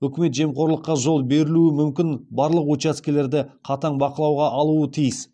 үкімет жемқорлыққа жол берілуі мүмкін барлық учаскелерді қатаң бақылауға алуы тиіс